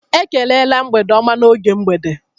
Ekelela mgbede ọma n'oge mgbede.